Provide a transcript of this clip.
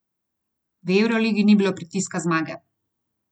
V evroligi ni bilo pritiska zmage.